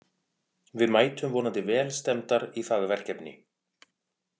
Við mætum vonandi vel stemmdar í það verkefni.